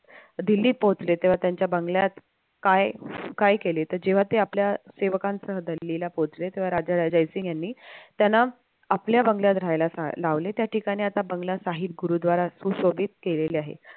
दिल्लीत पोहोचले तेव्हा त्यांच्या बंगल्यात काय काय केले तर जेव्हा ते आपल्या सेवकांसह दिल्लीला पोहोचले तेव्हा राजा रायसिंग यांनी त्यांना आपल्या बंगल्यात राहायला लावले त्या ठिकाणी आता बंगला गुरुद्वारा सुशोभित केलेलं आहे.